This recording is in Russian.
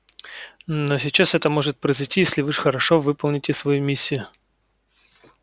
но сейчас это может произойти если вы хорошо выполните свою миссию